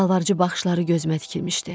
Yalvarıcı baxışları gözümə tikilmişdi.